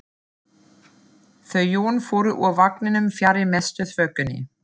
Þau Jón fóru úr vagninum fjarri mestu þvögunni.